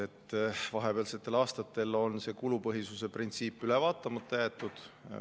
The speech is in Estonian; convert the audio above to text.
Nimelt, vahepealsetel aastatel on kulupõhisuse printsiip üle vaatamata jäetud.